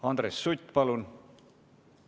Andres Sutt, palun!